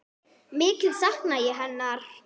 Mikið sakna ég hennar.